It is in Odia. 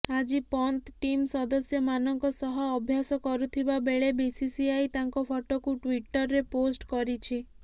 ଆଜି ପନ୍ତ ଟିମ୍ ସଦସ୍ୟମାନଙ୍କ ସହ ଅଭ୍ୟାସ କରୁଥିବା ବେଳେ ବିସିସିଆଇ ତାଙ୍କ ଫଟୋକୁ ଟ୍ୱିଟର୍ରେ ପୋଷ୍ଟ କରିଛି